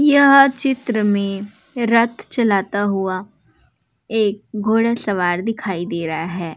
यह चित्र में रथ चलाता हुआ एक घोड़ासवार दिखाई दे रहा है।